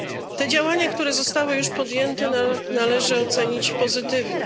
Te działania, które zostały już podjęte, należy ocenić pozytywnie.